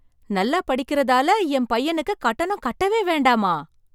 நல்ல படிக்கறதால என் பையனுக்கு கட்டணம் கட்டவே வேண்டாமா?